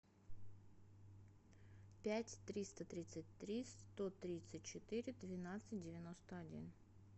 пять триста тридцать три сто тридцать четыре двенадцать девяносто один